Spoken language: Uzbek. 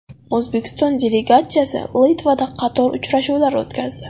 O‘zbekiston delegatsiyasi Litvada qator uchrashuvlar o‘tkazdi.